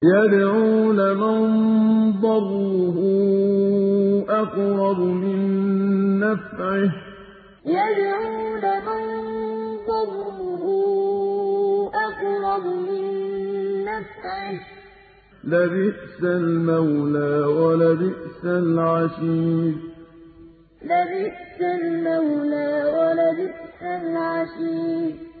يَدْعُو لَمَن ضَرُّهُ أَقْرَبُ مِن نَّفْعِهِ ۚ لَبِئْسَ الْمَوْلَىٰ وَلَبِئْسَ الْعَشِيرُ يَدْعُو لَمَن ضَرُّهُ أَقْرَبُ مِن نَّفْعِهِ ۚ لَبِئْسَ الْمَوْلَىٰ وَلَبِئْسَ الْعَشِيرُ